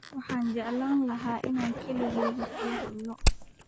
Waxaan jeclaan lahaa inaan keligaa kula hadlo